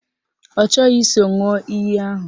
Ọ chọghị iso ṅụọ iyi ahụ